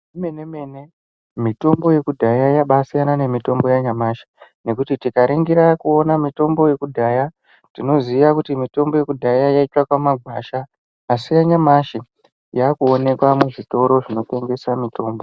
Zvemenemene mitombo yekudhaya yabaasiyana nemitombo yanyamashi, nekuti tikaringira kuona mitombo yekudhaya tinoziya kuti mitombo yekudhaya yaitsvakwa mumagwasha. Asi yanyamashi yaakuonekwa muzvitoro zvinotengesa mitombo.